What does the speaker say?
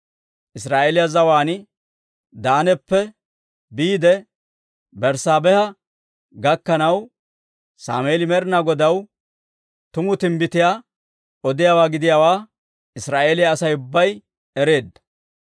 Israa'eeliyaa zawaan Daanappe biide Berssaabeha gakkanaw, Sammeeli Med'inaa Godaw tumu timbbitiyaa odiyaawaa gidiyaawaa Israa'eeliyaa Asay ubbay ereedda.